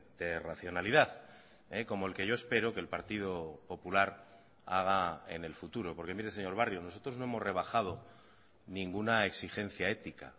de racionalidad como el que yo espero que el partido popular haga en el futuro porque mire señor barrio nosotros no hemos rebajado ninguna exigencia ética